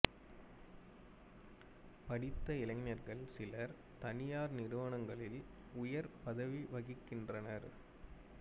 படித்த இளைஞர்கள் சிலர் தனியார் நிறுவனங்களில் உயர்ப் பதவி வகிக்கின்றனர்